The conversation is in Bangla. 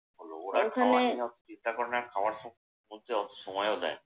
ওরা খাওয়া নিয়ে অত চিন্তা করে না, খাওয়ার মধ্যে অত সময়ও দেয় না।